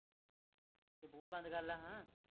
ਤੂੰ ਬੁਆ ਬੰਦ ਕਾਰਲਾ ਹੁਣ